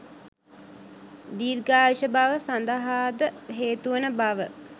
දීර්ඝායුෂ බව සඳහා ද හේතුවන බව